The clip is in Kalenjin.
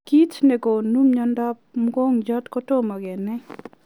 Kiit negonuu miondoo mogongiot kotomoo kenai.